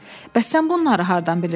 Bəs sən bunları hardan bilirsən?